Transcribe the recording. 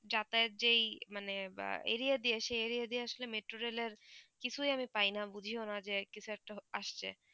যাতায়াত যে মানে বা area আস্যে সেই area দিয়ে আসলে metro rail এর কিছু আমি প্রায়ই না বুঝই না কি শর্তে আসছে